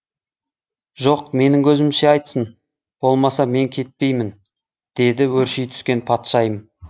жоқ менің көзімше айтсын болмаса мен кетпеймін деді өрши түскен патшайым